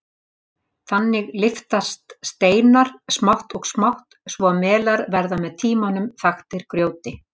Þannig lyftast steinar smátt og smátt svo að melar verða með tímanum þaktir grjóti.